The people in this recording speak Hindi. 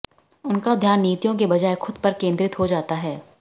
उनका ध्यान नीतियों के बजाय खुद पर केंद्रित हो जाता है